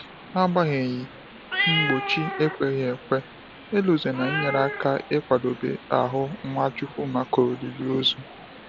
N’agbanyeghị mgbochi ekweghi ekwe, Elozonam nyere aka ịkwadebe ahụ Nwachukwu maka olili ozu.